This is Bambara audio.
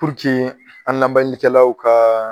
Purke an lamɛnikɛlaw ka